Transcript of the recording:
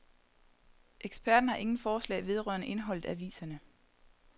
Eksperterne har ingen forslag vedrørende indholdet af aviserne.